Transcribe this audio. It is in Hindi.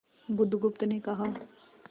बुधगुप्त ने कहा